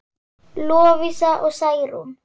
Lovísa og Særún.